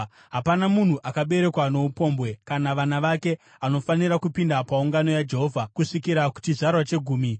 Hapana munhu akaberekwa noupombwe, kana vana vake, anofanira kupinda paungano yaJehovha, kusvikira kuchizvarwa chegumi.